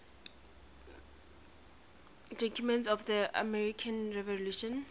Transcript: documents of the american revolution